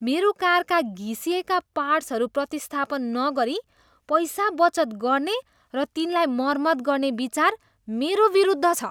मेरो कारका घिसिएका पार्ट्सहरू प्रतिस्थापन नगरी पैसा बचत गर्ने र तिनलाई मर्मत गर्ने विचार मेरो विरुद्ध छ।